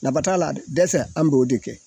Naba t'a la de, dɛsɛ an b'o de kɛ.